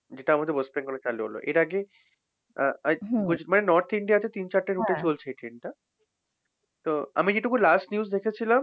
যেটা আমাদের ওয়েস্ট বেঙ্গলে চালু হলো, এর আগে আহ I think মানে নর্থ ইন্ডিয়াতে তিন-চারটে rout এ চলছে এই train টা। তো আমি যেটুকু last news দেখেছিলাম,